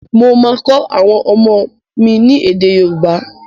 Mo máa kọ́ àwọn ọmọ mi ni èdè yóòbá